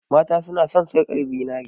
mata suna son sarkar zinare